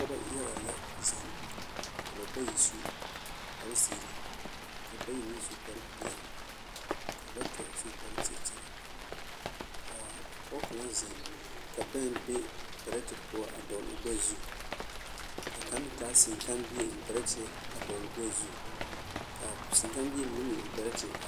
Pɔgebɔ yaga la zeŋ ka ba bayi su kpare zeere ka bayi meŋ su kpare peɛle ka bata su kpare kyɛkyɛre k'a pɔge kaŋa zeŋ ka bɛŋ be perɛte poɔ a dɔgele o gbɛɛ zu ka kaŋ meŋ taa seŋkãã bie eŋ perɛte a dɔgele o gbɛɛ zu k'a seŋkãã mine meŋ eŋ perɛte a